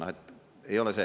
Noh, ei ole see.